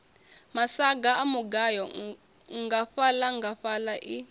masaga a mugayo nngafhaḽangafhaḽa i